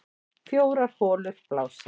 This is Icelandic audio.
Fjórar holur blása